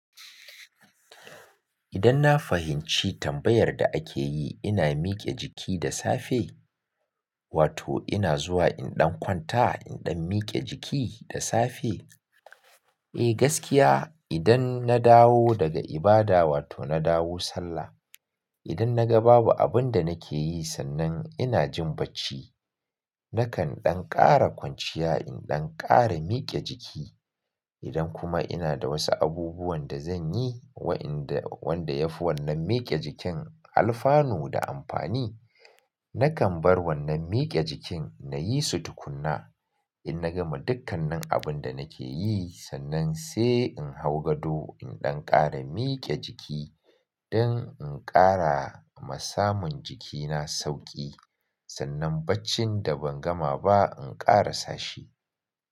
Idan na fahimci tambayar da ake yi, ina mike jiki da safe? Wato ina zuwa in ɗan kwanta in ɗan miƙe jiki da safe? Eh gaskiya idan na dawo daga ibada wato na dawo sallah, idan na ga babu abin da nake yi sannan ina jin bacci, nakan ɗan ƙara kwanciya in ɗan ƙara miƙe jiki. Idan kuma ina da wasu abubuwan da zan yi wa'inda wanda yafi wannan miƙe jikin alfanu da amfani, nakan bar wannan miƙe jikin na yi su tukuna. In na gama dukkanin abun da nake yi sannan sai in hau gado in ɗan ƙara miƙe jiki don in ƙara ma samun jikina sauƙi sannan baccin da ban gama ba in ƙara sashi.